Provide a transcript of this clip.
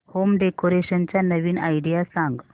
home decoration च्या नवीन idea सांग